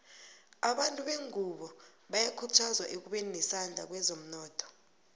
abantu bengunbo bayakhuthazwa ekubeni nesandla kwezomnotho